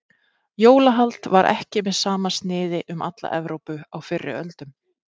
Jólahald var ekki með sama sniði um alla Evrópu á fyrri öldum.